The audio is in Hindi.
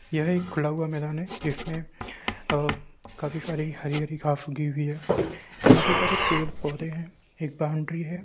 यह एक खुला हुआ मैदान है जिसमें अ-अ-अ काफी सारी हरी-हरी घांस उगी हुई है काफी सारे पेड़-पौधे है एक बाउंड्री है।